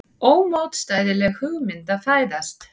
Ómótstæðileg hugmynd að fæðast.